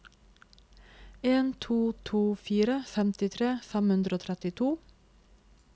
en to to fire femtitre fem hundre og trettito